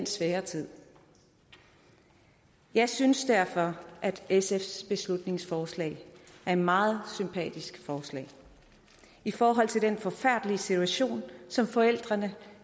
svær tid jeg synes derfor at sfs beslutningsforslag er et meget sympatisk forslag i forhold til den forfærdelige situation som forældrene